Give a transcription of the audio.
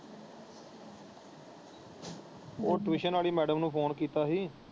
ਉਹ ਟਿਊਸ਼ਨ ਵਾਲੀ ਮੈਡਮ ਨੂੰ ਫੋਨ ਕੀਤਾ ਸੀ।